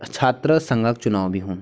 छात्र संघ क चुनाव भी हुन्द।